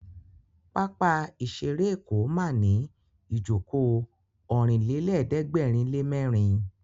Pápá ìṣeré Èkó ma ní ìjókòó Ọ̀rìnlélẹ̀ẹ́dẹ́gbèrinlémẹ́rin